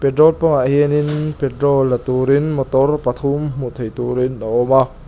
pump ah hianin petrol la turin motor pathum hmuh theih turin a awm a.